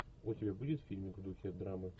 у тебя будет фильмик в духе драмы